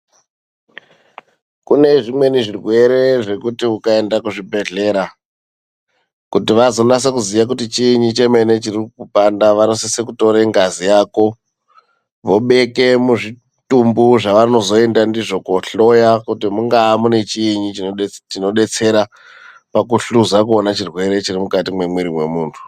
Kune zvimweni zvirwere zvekuti ukaenda kuzvibhedhlera kuti vazonase kuziya kuti chiini chemene chirikukupanda vanosise kutore ngazi yako vobeke muzvitumbu zvavanozoenda ndizvo kohloya kuti mungaa mune chiini chinodetsera pakuhluza kuona chirwere chiri mukati mwemiri wemuntu.